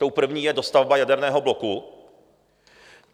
Tou první je dostavba jaderného bloku.